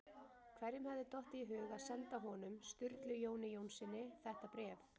Hverjum hafði dottið í hug að senda honum- Sturlu Jóni Jónssyni- þetta bréf?